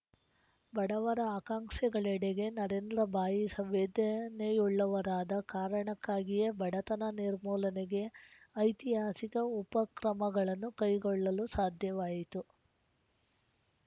ಬಡವರ ಆಕಾಂಕ್ಸೆಗಳೆಡೆಗೆ ನರೇಂದ್ರ ಭಾಯಿ ಸಂವೇದನೆಯುಳ್ಳವರಾದ ಕಾರಣಕ್ಕಾಗಿಯೇ ಬಡತನ ನಿರ್ಮೂಲನೆಗೆ ಐತಿಹಾಸಿಕ ಉಪಕ್ರಮಗಳನ್ನು ಕೈಗೊಳ್ಳಲು ಸಾಧ್ಯವಾಯಿತು